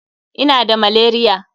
Ina da malaria.